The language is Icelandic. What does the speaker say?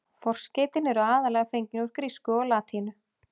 Forskeytin eru aðallega fengin úr grísku og latínu.